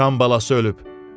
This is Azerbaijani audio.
Sıçan balası ölüb.